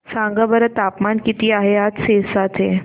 सांगा बरं तापमान किती आहे आज सिरसा चे